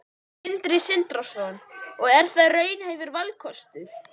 Sindri Sindrason: Og er það raunhæfur valkostur?